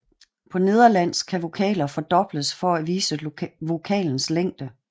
På nederlandsk kan vokaler fordobles for at vise vokalens længde